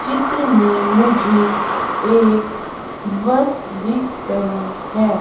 चित्र में मुझे एक बस दिख रही है।